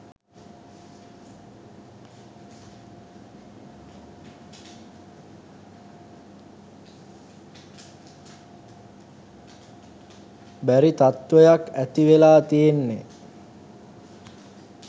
බැරි තත්වයක් ඇති වෙලා තියෙන්නෙ